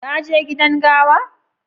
ka je gidan gawa?